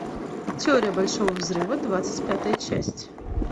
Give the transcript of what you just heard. теория большого взрыва двадцать пятая часть